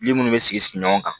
Yiri munnu bɛ sigi sigi ɲɔgɔn kan